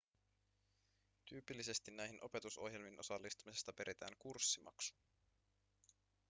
tyypillisesti näihin opetusohjelmiin osallistumisesta peritään kurssimaksu